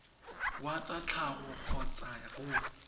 wa tsa tlhago kgotsa go